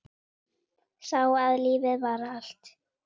Sá að lífið var allt.